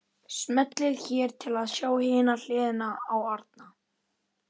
Smellið hér til að sjá hina hliðina á Árna